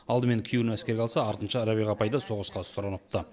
алдымен күйеуін әскерге алса артынша рәбиға апай да соғысқа сұраныпты